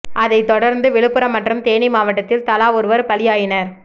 அதை தொடர்ந்து விழுப்புரம் மற்றும் தேனி மாவட்டத்தில் தலா ஒருவர் பலியாயினர்